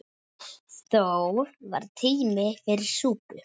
Þó var tími fyrir súpu.